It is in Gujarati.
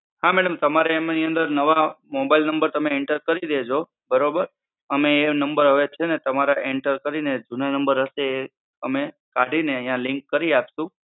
હા madam, તમારે એમાં અહીં અંદર નવા mobile number તમે enter કરી દેજો, બરાબર? અમે એ number હવે છે ને તમારા enter કરીન જૂના number હશે એ અમે કાઢીને અહીંયા link કરી આપશું.